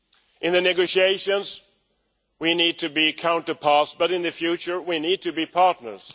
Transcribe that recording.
In the negotiations we need to be counterparts, but in the future we need to be partners.